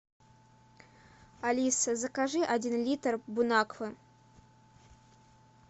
алиса закажи один литр бон аква